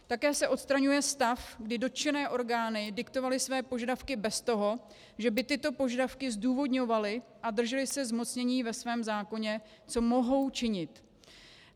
Také se odstraňuje stav, kdy dotčené orgány diktovaly své požadavky bez toho, že by tyto požadavky zdůvodňovaly a držely se zmocnění ve svém zákoně, co mohou činit.